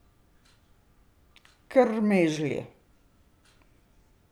Krmežlji.